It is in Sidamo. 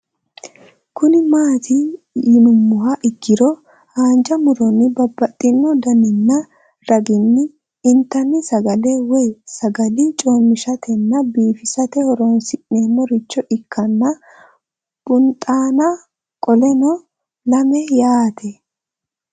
Kuni mati yinumoha ikiro hanja muroni babaxino daninina ragini intani sagale woyi sagali comishatenna bifisate horonsine'morich ikinota bunxana qoleno lame yaate